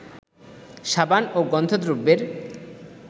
সাবান ও গন্ধদ্রব্যের